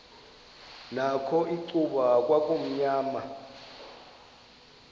nakho icuba kwakumnyama